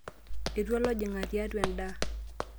Etua olojingani tiatua endaa.